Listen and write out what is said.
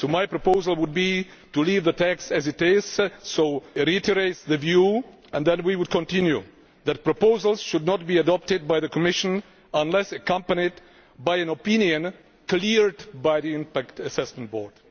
So my proposal would be to leave the text as it is, namely reiterates the view', and then we would continue that proposals should not be adopted by the Commission unless accompanied by an opinion cleared by the Impact Assessment Board'.